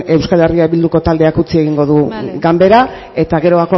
euskal herria bilduko taldeak utzi egingo du ganbera eta gero